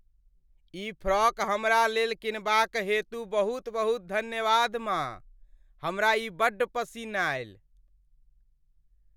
ई frock हमरा लेल किनबाक हेतु बहुत बहुत धन्यवाद, माँ। हमरा ई बड्ड पसिन्न आएल।